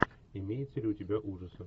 имеются ли у тебя ужасы